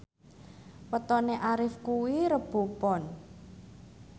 wetone Arif kuwi Rebo Pon